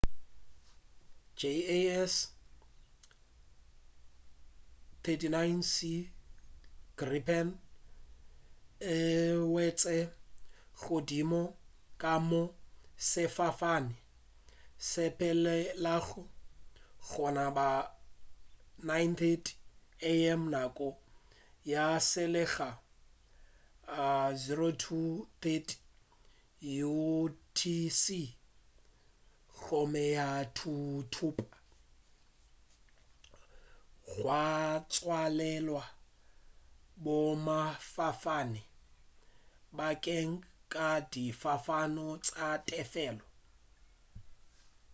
jas 39c gripen e wetše godimo ga moo sefofane se sepelago gona ka bo 9:30 am nako ya selegae 0230utc gomme ya thuthupa gwa tswalelwa boemafofane bakeng sa difofane tša tefelo